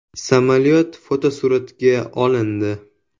Samolyot fotosuratga olindi.